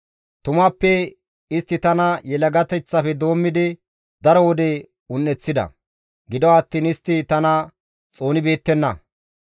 Tumappe istti tana yelagateththafe doommidi daro wode un7eththida; gido attiin istti tana xoonibeettenna.